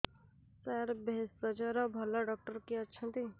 ସାର ଭେଷଜର ଭଲ ଡକ୍ଟର କିଏ ଅଛନ୍ତି